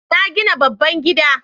Na gina babban gida